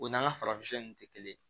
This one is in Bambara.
O n'an ka farafin kun tɛ kelen ye